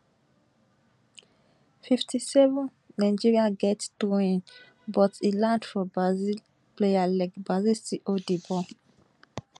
fifty seven nigeria get throwin but e land for brazil player leg brazil still hold di ball